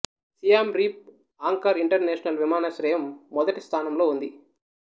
సియాం Reap Angkor international విమానాశ్రయం మొదటి ద్థానంలో ఉంది